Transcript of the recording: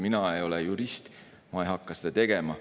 Mina ei ole jurist, ma ei hakka seda tegema.